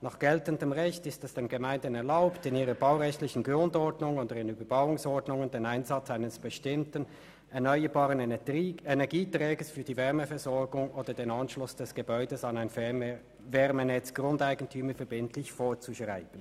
Nach geltendem Recht ist es den Gemeinden erlaubt, in ihrer baurechtlichen Grundordnung und in Überbauungsordnungen den Einsatz eines bestimmten erneuerbaren Energieträgers für die Wärmeversorgung oder den Anschluss des Gebäudes an ein Fernwärmenetz grundeigentümerverbindlich vorzuschreiben».